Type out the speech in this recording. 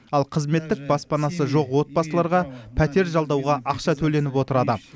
ал қызметтік баспанасы жоқ отбасыларға пәтер жалдауға ақша төленіп отырады